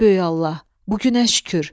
Ey böyük Allah, bu günə şükür.